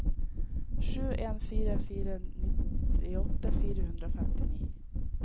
sju en fire fire nittiåtte fire hundre og femtini